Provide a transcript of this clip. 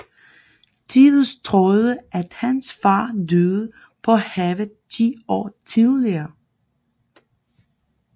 Tidus troede at hans far døde på havet ti år tidligere